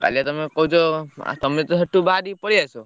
କାଲି ବା ତମେ କହୁଛ ତମେତ ସେଠୁ ବହରିକି ପଳେଇଆସ।